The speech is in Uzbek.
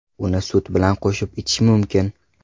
Uni sut bilan qo‘shib ichish mumkin.